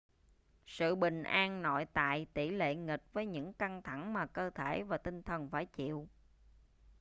sự bình an nội tại tỷ lệ nghịch với những căng thẳng mà cơ thể và tinh thần phải chịu